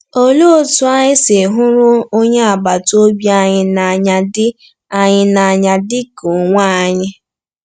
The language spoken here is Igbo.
Olee Otú Anyị Si Hụrụ Onye agbata obi Anyị n’Anya Dị Anyị n’Anya Dị Ka Onwe Anyị?